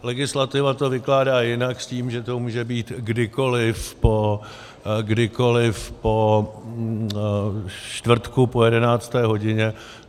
Legislativa to vykládá jinak s tím, že to může být kdykoliv po čtvrtku po jedenácté hodině.